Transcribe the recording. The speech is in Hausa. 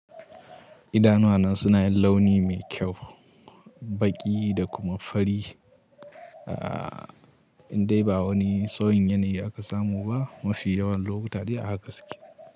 Idanuwana suna yin launi mai kyau, baƙi da kuma fari ahh indai ba wani sauyin yanayi aka samu ba. Mafi yawan lokuta dai a haka suke.